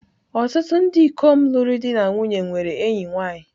Ọtụtụ ndị ikom lụrụ di na nwunye nwere enyi nwanyị.